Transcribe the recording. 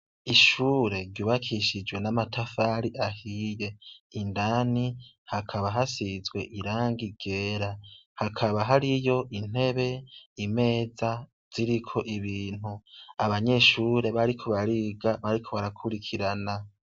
Ishure ryubakishijwe n'amatafari ahiye. Idani hakaba hashizwe irangi ryera. Hakaba hariyo intebe, imeza, ziriko ibintu, abanyeshure bariko bariga bariko barakurikirana.